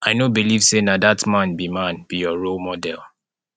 i no believe say na dat man be man be your role model